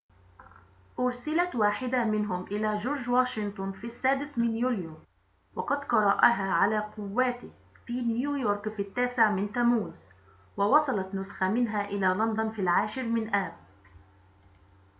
أُرسلت واحدة منهم إلى جورج واشنطن في السادس من يوليو وقد قرأها على قوّاته في نيويورك في التاسع من تموز ووصلت نسخة منها إلى لندن في العاشر من آب